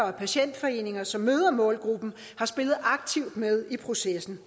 og patientforeninger som møder målgruppen har spillet aktivt med i processen